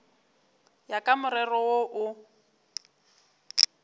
ya ka morero wo o